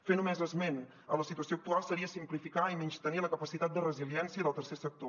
fer només esment de la situació actual seria simplificar i menystenir la capacitat de resiliència del tercer sector